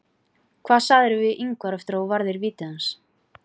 Hvað sagðirðu við Ingvar eftir að þú varðir vítið hans?